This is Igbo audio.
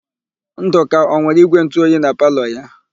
Ndụka ọ nwere ígwèntụoyi na palọ ya?